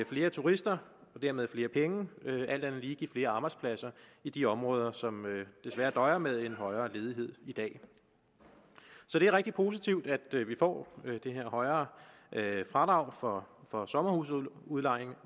flere turister og dermed flere penge alt andet lige give flere arbejdspladser i de områder som desværre døjer med en højere ledighed i dag så det er rigtig positivt at vi får det her højere fradrag for for sommerhusudlejning